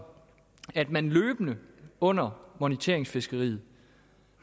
at man løbende under moniteringsfiskeriet